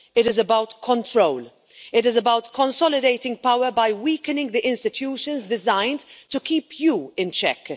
it is about control, it is about consolidating power by weakening the institutions designed to keep you in check.